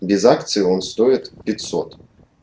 без акции он стоит пятьсот